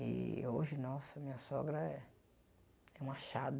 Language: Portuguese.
E hoje, nossa, minha sogra é é um achado.